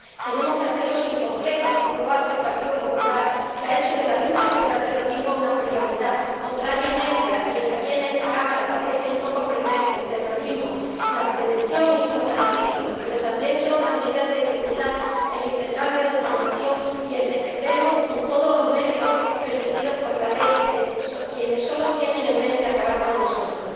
Tenemos que hacerlo sin complejos, como lo hace el Partido Popular, que ha hecho de la lucha contra el terrorismo una prioridad, contrariamente a quienes aquí en esta Cámara parecen no comprender que, en el terrorismo, la prevención es importantísima, pero también lo son las medidas de seguridad, el intercambio de información y el defendernos, con todos los medios permitidos por la ley, de quienes solo tienen en mente acabar con nosotros.